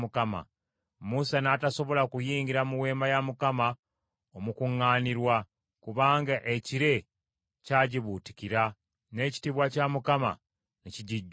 Musa n’atasobola kuyingira mu Weema ey’Okukuŋŋaanirangamu, kubanga ekire kyagibuutikira, n’ekitiibwa kya Mukama ne kijijjula.